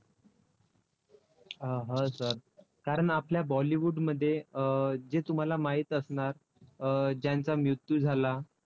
अं ह sir कारण आपल्या bollywood मध्ये अं जे तुम्हाला माहीत असणार अं ज्यांचा मृत्यू झाला.